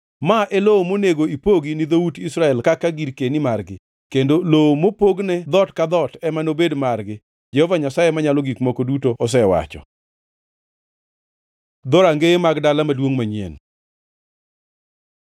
“Ma e lowo monego ipogi ni dhout Israel kaka girkeni margi, kendo lowo mopogne dhoot ka dhoot ema nobed margi.” Jehova Nyasaye Manyalo Gik Moko Duto osewacho. Dhorangeye mag Dala Maduongʼ Manyien